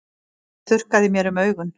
Ég þurrkaði mér um augun.